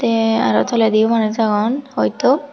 te aro toledi manuch agon hoito.